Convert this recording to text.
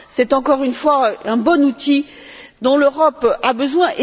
c'est, encore une fois, un bon outil dont l'Europe a besoin.